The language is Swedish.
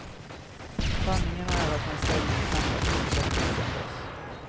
Sanningen är att hans ställning knappast förbättrats sedan dess.